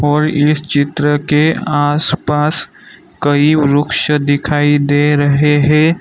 और इस चित्र के आसपास कई वृक्ष दिखाई दे रहे है।